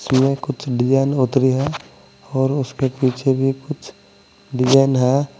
में कुछ डिजाइन उत्री है और उसके पीछे भी कुछ डिजाइन है।